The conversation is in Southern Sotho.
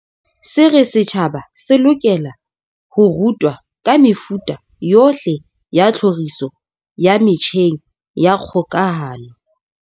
Se re setjhaba se lokela ho rutwa ka mefuta yohle ya tlhoriso ya metjheng ya kgokahano.